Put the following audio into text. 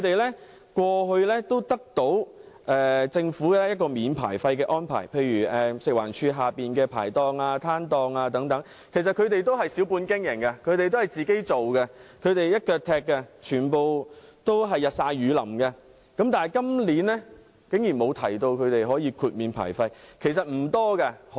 他們過去獲政府豁免牌費，例如食物環境衞生署轄下的牌檔和攤檔等，都是小本經營，自己一手包辦，日曬雨淋地工作，但今年竟然沒有豁免他們的牌費。